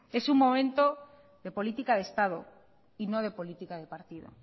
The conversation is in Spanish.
es un momento de política de estado y no de política de partido